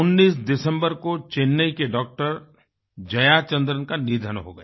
19 दिसम्बर को चेन्नई के डॉक्टर जयाचंद्रन का निधन हो गया